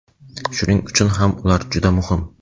Shuning uchun ham ular juda muhim.